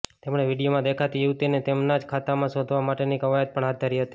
તેમણે વીડિયોમાં દેખાતી યુવતીની તેમના જ ખાતામાં શોધવા માટેની કવાયત પણ હાથ ધરી હતી